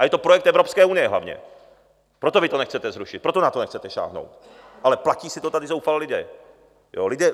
A je to projekt Evropské unie hlavně, proto vy to nechcete zrušit, proto na to nechcete sáhnout, ale platí si to tady zoufale lidé.